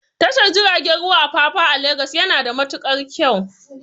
Tashar jirgin ruwan Apapa a Lagos yana da matukar kyau